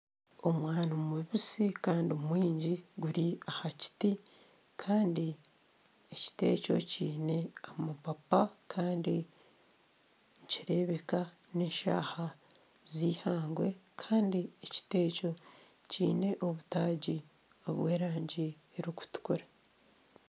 Omwani mubisi Kandi mwingi guri aha kiti Kandi ekiti ekyo kiine amapapa kandi nikireebeka n'eshaaha z'eihangwe kandi ekiti ekyo kiine obutaagi obw'erangi erikutukura.